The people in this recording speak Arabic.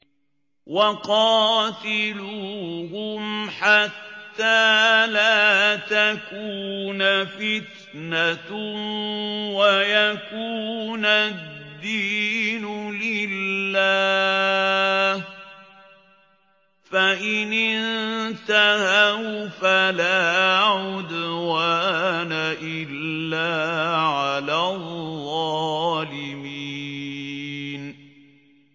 وَقَاتِلُوهُمْ حَتَّىٰ لَا تَكُونَ فِتْنَةٌ وَيَكُونَ الدِّينُ لِلَّهِ ۖ فَإِنِ انتَهَوْا فَلَا عُدْوَانَ إِلَّا عَلَى الظَّالِمِينَ